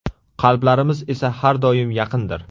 Qalblarimiz esa har doim yaqindir.